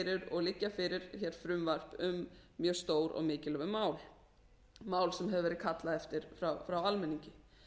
og liggja fyrir hér frumvörp um mjög stór og mikilvæg mál mál sem hefur verið kallað eftir frá almenningi